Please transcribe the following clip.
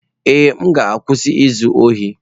Ee, m ga-akwụsị izu ohi.